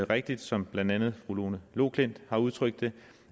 rigtigt som blandt andet fru lone loklindt og udtrykt det